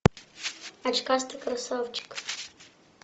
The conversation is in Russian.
очкастый красавчик